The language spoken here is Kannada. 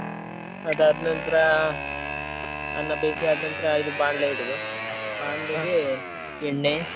ಅದ್ ಆದ್ನಂತ್ರ ಅನ್ನ ಬೇಯಿಸಿ ಆದ್ ನಂತ್ರ ಇದ್ ಬಾಣ್ಲೆ ಇಡೊದು ಬಾಣ್ಲೆಗೆ ಎಣ್ಣೆ.